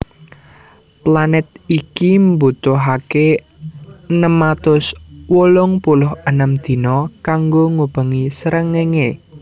Planèt iki mbutuhaké enem atus wolung puluh enem dina kanggo ngubengi srengéngé